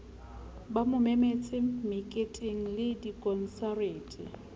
ba mo memetse meketengle dikonsareteng